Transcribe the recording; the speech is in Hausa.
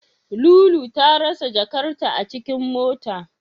Lolo ta rasa jakarta a cikin mota.